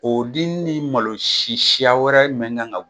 O di ni malo si siya wɛrɛ mɛn kan ga